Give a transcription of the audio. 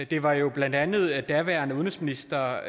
det var jo blandt andet daværende udenrigsminister